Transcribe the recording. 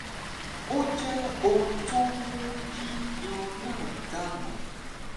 ó jẹ́ ohun tó ń mú kí irun náà dà nù